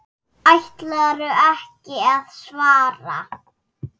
Ætlarðu ekki að svara?